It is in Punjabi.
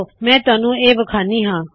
ਮੈਂ ਤੁਹਾਨੂ ਇਹ ਵਿਖਾਨੀ ਹਾ